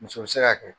Muso bɛ se ka kɛ